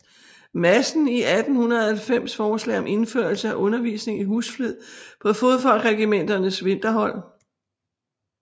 Madsen i 1890 forslag om indførelse af undervisning i husflid på fodfolkregimenternes vinterhold